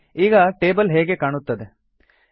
ನೋಡಿ ಈಗ ಟೇಬಲ್ ಹೇಗೆ ಕಾಣುತ್ತದೆ